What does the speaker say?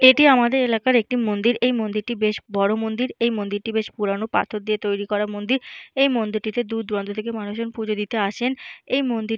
এটি আমাদের এলাকার একটি মন্দির। এটি মন্দিরটি বেশ বড় মন্দির। এই মন্দিরটি বেশ পুরানো পাথর দিয়ে তৈরি করা মন্দির। এই মন্দিরটিতে দূর দূরান্ত থেকে মানুষ পুজো দিতে আসেন। এই মন্দির --